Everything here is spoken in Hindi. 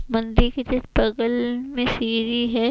मंदिर के बगल में सिरी है।